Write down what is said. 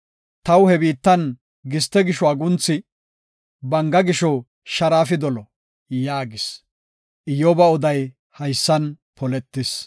taw he biittan giste gisho agunthi, banga gisho sharaafi dolo” yaagis. Iyyoba oday hessan poletis.